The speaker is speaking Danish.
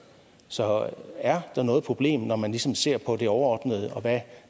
så er der noget problem når man ligesom ser på det overordnede og hvad